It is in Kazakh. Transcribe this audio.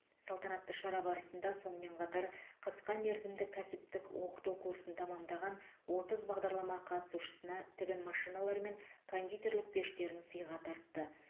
салтанатты шара барысында сонымен қатар қысқа мерзімді кәсіптік оқыту курсын тәмамдаған отыз бағдарлама қатысушысына тігін машиналары мен кондитерлік пештерін сыйға тартты